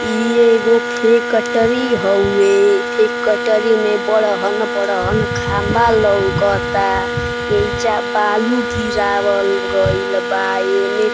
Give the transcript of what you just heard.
इ एगो फैक्टरी हउवे। फेक्टरी में बड़हन-बड़हन खम्मा लउकता। एइजा बालू गिरवाल गइल बा एमे --